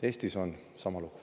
Eestis on sama lugu.